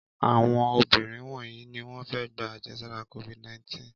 Àwọn obìnrin wọ̀nyí ni wọ́n fẹ́ gba àjẹsára Covid-19.